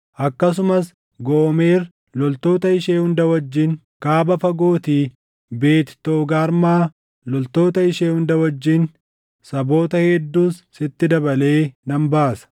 akkasumas Goomer loltoota ishee hunda wajjin, kaaba fagootii Beet Toogarmaa loltoota ishee hunda wajjin, saboota hedduus sitti dabalee nan baasa.